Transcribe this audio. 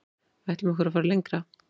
Ætlum okkur að fara lengra